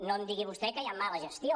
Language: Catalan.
no em digui vostè que hi ha mala gestió